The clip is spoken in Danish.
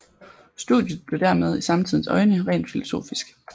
Studiet blev dermed i samtidens øjne rent filosofisk